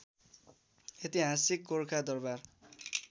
ऐतिहासिक गोरखा दरवार